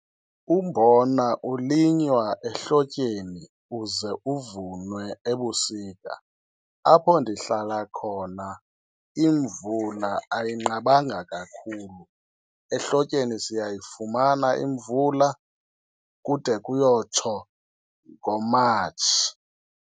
Umbona ulinywa ehlotyeni uze uvunwe ebusika. Apho ndihlala khona imvula ayinqabanga kakhulu. Ehlotyeni siyayifumana imvula kude kuyotsho ngoMatshi.